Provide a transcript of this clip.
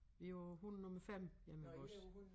Vi på hund nummer 5 hjemme ved os